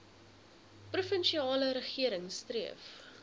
provinsiale regering streef